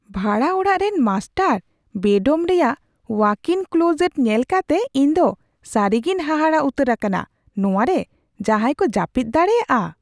ᱵᱷᱟᱲᱟ ᱚᱲᱟᱜ ᱨᱮᱱ ᱢᱟᱥᱴᱟᱨ ᱵᱮᱰᱨᱩᱢ ᱨᱮᱭᱟᱜ ᱳᱣᱟᱠᱼᱤᱱ ᱮᱞᱠᱳᱡᱮᱴ ᱧᱮᱞ ᱠᱟᱛᱮ ᱤᱧ ᱫᱚ ᱥᱟᱹᱨᱤᱜᱤᱧ ᱦᱟᱦᱟᱲᱟᱜ ᱩᱛᱟᱹᱨ ᱟᱠᱟᱱᱟ, ᱱᱚᱶᱟ ᱨᱮ ᱡᱟᱦᱟᱭ ᱠᱚ ᱡᱟᱹᱯᱤᱫ ᱫᱟᱲᱮᱭᱟᱜᱼᱟ ᱾